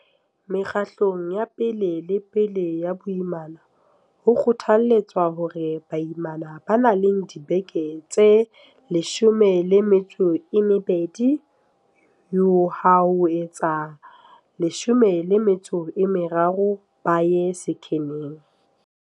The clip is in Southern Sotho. Mekgahlelong ya pe lepele ya boimana, ho kgothaletswa hore baimana ba nang le dibeke tse 12 yo ha ho tse 13 ba ye sekheneng.